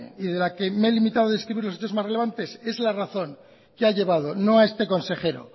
y de la que me he limitado de describir los hechos más relevantes es la razón que ha llevado no a este consejero